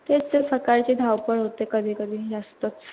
तेच ते सकाळची धावपळ होते कधी कधी जास्त.